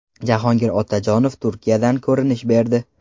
Jahongir Otajonov Turkiyadan ko‘rinish berdi.